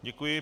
Děkuji.